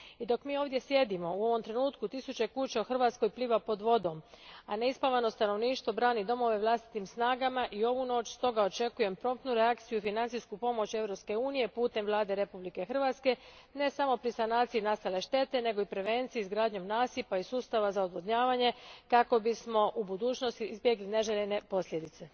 I dok mi ovdje sjedimo, u ovome trenutku tisuće kuća u Hrvatskoj pliva pod vodom, a neispavano stanovništvo brani domove vlastitim snagama i ovu noć stoga očekujem promptnu reakciju i financijsku pomoć Europske unije putem Vlade Republike Hrvatske ne samo pri sanaciji nastale štete nego i prevenciji izgradnjom nasipa i sustava za odvodnjavanje kako bismo u budućnosti izbjegli neželjene posljedice.